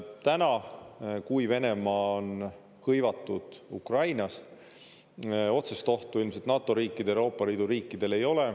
Täna, kui Venemaa on hõivatud Ukrainas, otsest ohtu ilmselt NATO riikidel, Euroopa Liidu riikidel ei ole.